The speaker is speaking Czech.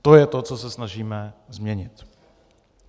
To je to, co se snažíme změnit.